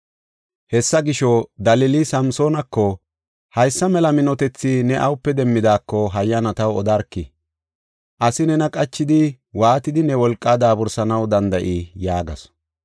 Hessa gisho Dalila Samsoonako, “Haysa mela minotethi ne awupe demmidaako, hayyana taw odarkii. Asi nena qachidi waatidi ne wolqaa daabursanaw danda7ii?” yaagasu.